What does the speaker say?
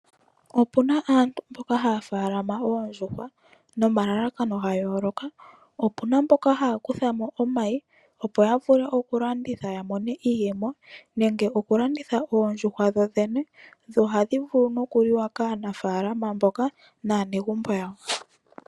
Opuna aantu mboka haya faalama oondjuhwa nomalalakano ga yooloka. Opuna mboka haya kuthamo omayi opo yavule okulanditha ya mone iiyemo nenge okulanditha oondjuhwa dho dhene dho ohadhi vulu nokuliwa kaanafaalama mboka naanegumbo lyawo.